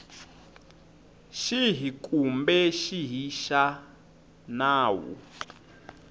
xihi kumbe xihi xa nawu